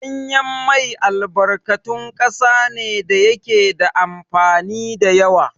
Ɗanyen mai albarkatun ƙasa ne da yake da amfani da yawa.